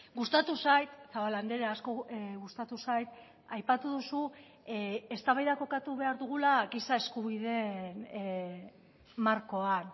gustatu zait zabala andrea asko gustatu zait aipatu duzu eztabaida kokatu behar dugula giza eskubideen markoan